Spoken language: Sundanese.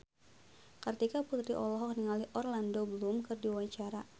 Kartika Putri olohok ningali Orlando Bloom keur diwawancara